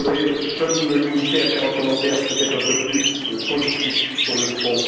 Je voudrais seulement me limiter à faire un commentaire, peut être un peu plus politique, sur le fond.